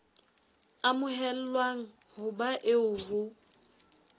amohelwang ho ba eo ho